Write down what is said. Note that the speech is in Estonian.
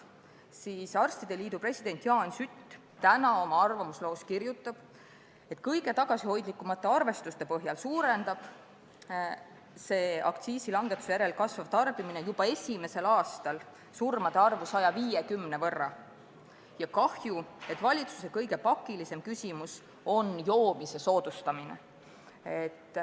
Eesti Arstide Liidu president Jaan Sütt aga kirjutab tänases arvamusloos, et kõige tagasihoidlikumate arvestuste põhjal suurendab aktsiisilangetuse järel kasvav tarbimine juba esimesel aastal surmade arvu 150 võrra ja et on kahju, et valitsuse kõige pakilisem küsimus on joomise soodustamine.